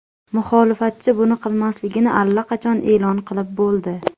Muxolifatchi buni qilmasligini allaqachon e’lon qilib bo‘ldi.